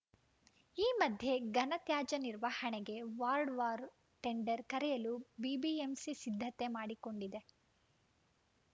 ಈ ಮಧ್ಯೆ ಘನತ್ಯಾಜ್ಯ ನಿರ್ವಹಣೆಗೆ ವಾರ್ಡ್‌ವಾರು ಟೆಂಡರ್‌ ಕರೆಯಲು ಬಿಬಿಎಂಪಿ ಸಿದ್ಧತೆ ಮಾಡಿಕೊಂಡಿದೆ